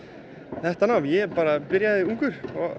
þetta nám ég bara byrjaði ungur og